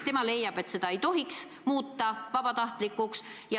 Tema leiab, et seda sammast ei tohiks muuta vabatahtlikuks.